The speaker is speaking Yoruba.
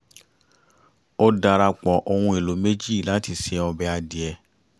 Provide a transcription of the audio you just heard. ó darapọ̀ ohùn èlò méjì lati ṣe ọbẹ̀ adìyẹ